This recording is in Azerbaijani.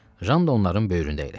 Jan da onların böyründə əyləşdi.